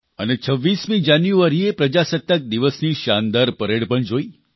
અને 26 જાન્યુઆરીએ પ્રજાસત્તાક દિવસની શાનદાર પરેડ પણ જોઇ